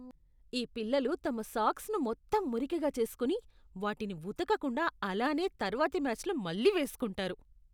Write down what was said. ఈ పిల్లలు తమ సాక్స్ను మొత్తం మురికిగా చేసుకొని, వాటిని ఉతకకుండా అలానే తర్వాతి మ్యాచ్లో మళ్లీ వేసుకుంటారు.